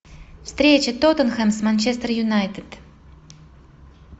встреча тоттенхэм с манчестер юнайтед